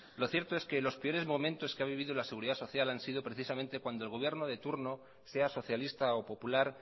lo cierto es que los peores momentos que ha vivido la seguridad social han sido precisamente cuando el gobierno de turno sea socialista o popular